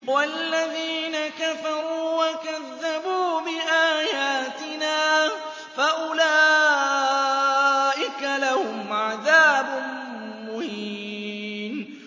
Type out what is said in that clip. وَالَّذِينَ كَفَرُوا وَكَذَّبُوا بِآيَاتِنَا فَأُولَٰئِكَ لَهُمْ عَذَابٌ مُّهِينٌ